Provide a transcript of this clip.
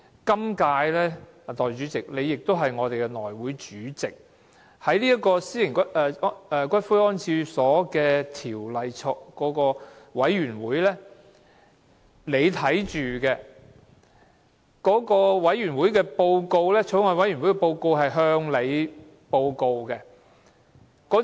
今屆，代理主席，你是我們的內務委員會主席，你是《私營骨灰安置所條例草案》委員會的委員，而法案委員會的報告是在內會會議上向你提交的。